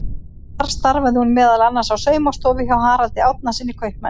Þar starfaði hún meðal annars á saumastofu hjá Haraldi Árnasyni kaupmanni.